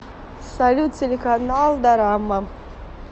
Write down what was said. салют телеканал дорама